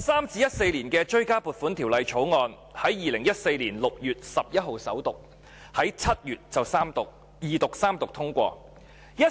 《追加撥款條例草案》在2014年6月11日首讀，在7月二讀及三讀通過。